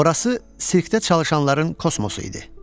Orası sirkdə çalışanların kosmosu idi.